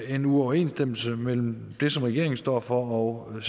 en uoverensstemmelse mellem det som regeringen står for og